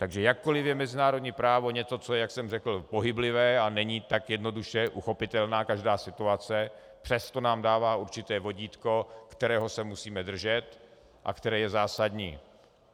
Takže jakkoliv je mezinárodní právo něco, co je, jak jsem řekl, pohyblivé, a není tak jednoduše uchopitelná každá situace, přesto nám dává určité vodítko, kterého se musíme držet a které je zásadní.